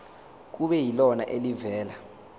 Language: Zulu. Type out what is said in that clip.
kube yilona elivela